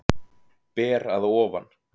Ber að ofan.